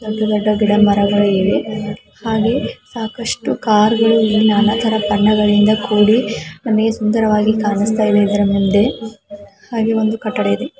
ಒಂದು ದೊಡ್ಡ ಗಿಡ ಮರಗಳು ಇವೆ ಹಾಗೆ ಅಷ್ಟು ಕಾರ್ಗಳು ನಾನಾತ ರೆ ಬಣ್ಣಗಳಿಂದ ಕೂಡಿ ನಮಗೆ ಸುಂದರವಾಗಿ ಕಾಣುಸ್ತಾ ಇದೆ ಇದರ ಮುಂದೆ ಹಾಗೆ ಒಂದು ಕಟ್ಟಡ ಇದೆ.